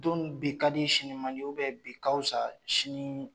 Don dun bi ka di sini mandi bi ka fisa sini